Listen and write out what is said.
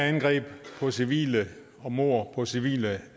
angreb på civile og mord på civile